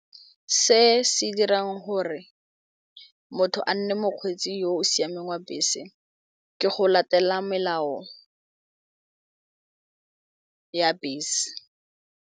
Se se dirang gore motho a nne mokgweetsi yo o siameng wa bese ke go latela melao ya bese.